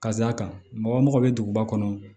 Ka d'a kan mɔgɔ bɛ duguba kɔnɔ